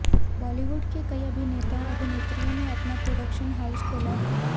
बॉलीवुड के कई अभिनेता और अभिनेत्रियों ने अपना प्रोडक्शन हाउस खोला है